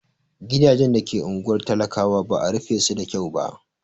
Gidajen da ke unguwar talakawa ba'a rufe su da kyau ba.